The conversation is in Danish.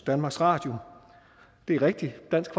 danmarks radio det er rigtigt dansk